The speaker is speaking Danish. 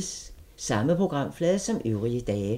Samme programflade som øvrige dage